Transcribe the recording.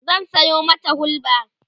zan Sayo mata hulba